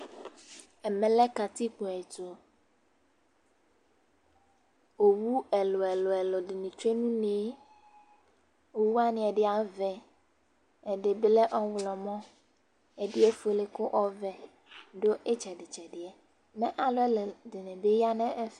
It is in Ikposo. Ɛmɛ lɛ katikpo ɛtʋ Owʋ ɛlʋ ɛlʋ ɛlʋ nɩ atsʋe nʋ une yɛ Owʋ wanɩ ɛdɩ avɛ, ɛdɩ bɩ lɛ ɔɣlɔmɔ, ɛdɩnɩ efuele kʋ ɔvɛ nɩ adʋ ɩtsɛdɩtsɛdɩ yɛ Mɛ alu ɛla dɩnɩ bɩ aya nʋ ɛfɛ